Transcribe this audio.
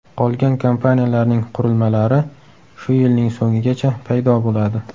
Qolgan kompaniyalarning qurilmalari shu yilning so‘ngigacha paydo bo‘ladi.